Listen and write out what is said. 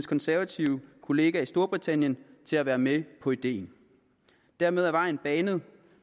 konservative kollega i storbritannien til at være med på ideen dermed er vejen banet